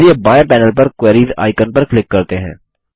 चलिए बाएं पैनल पर क्वेरीज आइकन पर क्लिक करते हैं